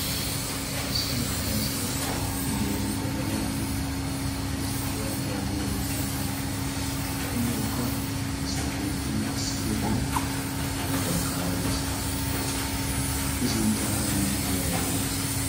issi maccaasiya giyan badalaanne nusxxiyan bailaennoos yiyookka asai meettenna issi gedee a baggaaradees xippe sinttaara ay buddiyaabau malati?